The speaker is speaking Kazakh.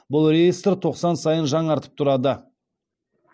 бұл реестр тоқсан сайын жаңартып тұрады